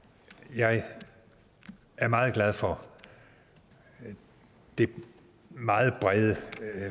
jeg er meget glad for det meget brede